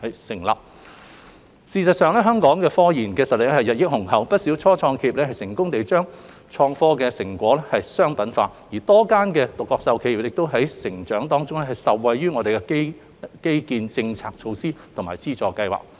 事實上，香港科研實力雄厚，不少初創企業成功將研發成果商品化，而多間獨角獸企業的成長亦受惠於本港的創科基建、政策措施及資助計劃等。